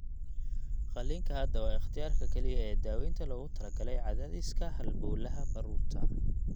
Qalliinka hadda waa ikhtiyaarka kaliya ee daawaynta loogu talagalay cadaadiska halbowlaha baruurta.